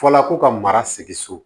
Fɔla ko ka mara segin so